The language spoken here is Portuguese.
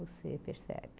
Você percebe.